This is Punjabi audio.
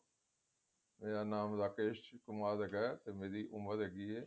ਮੇਰਾ ਨਾਮ ਰਾਕੇਸ਼ ਕੁਮਾਰ ਹੈਗਾ ਤੇ ਮੇਰੀ ਉਮਰ